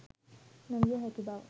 නො විය හැකි බව